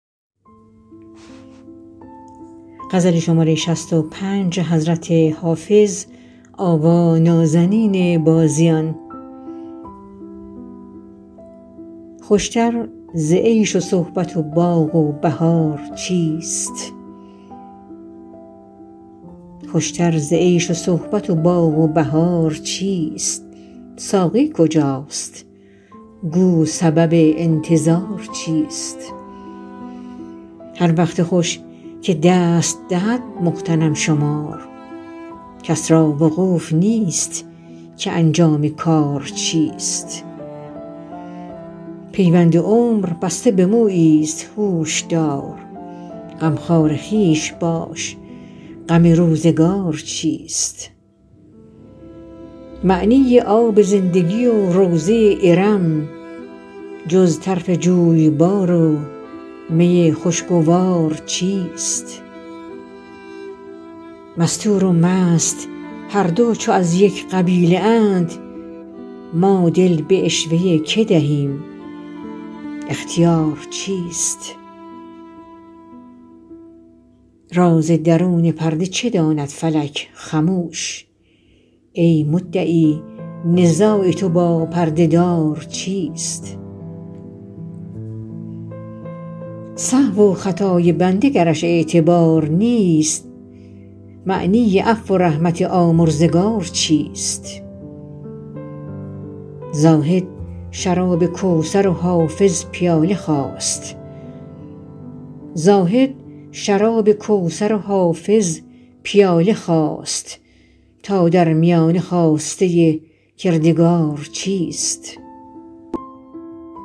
خوش تر ز عیش و صحبت و باغ و بهار چیست ساقی کجاست گو سبب انتظار چیست هر وقت خوش که دست دهد مغتنم شمار کس را وقوف نیست که انجام کار چیست پیوند عمر بسته به مویی ست هوش دار غمخوار خویش باش غم روزگار چیست معنی آب زندگی و روضه ارم جز طرف جویبار و می خوشگوار چیست مستور و مست هر دو چو از یک قبیله اند ما دل به عشوه که دهیم اختیار چیست راز درون پرده چه داند فلک خموش ای مدعی نزاع تو با پرده دار چیست سهو و خطای بنده گرش اعتبار نیست معنی عفو و رحمت آمرزگار چیست زاهد شراب کوثر و حافظ پیاله خواست تا در میانه خواسته کردگار چیست